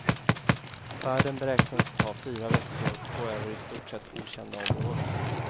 Färden beräknades ta fyra veckor och gå över i stort sett okända områden.